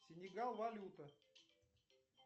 сенегал валюта